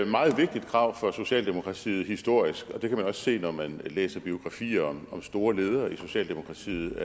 meget vigtigt krav for socialdemokratiet historisk det kan man også se når man læser biografier om store ledere i socialdemokratiet